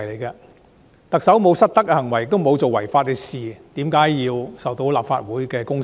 特首沒有失德的行為，也沒有做違法的事，為何要受到立法會的公審？